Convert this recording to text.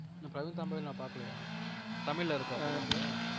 நான் பிரவீன் தாம்பேவே பாக்கலையா தமிழ்ல இருக்கா